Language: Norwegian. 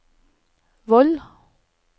Voll